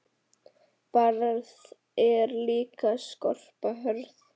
Barð er líka skorpa hörð.